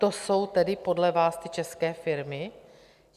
To jsou tedy podle vás ty české firmy?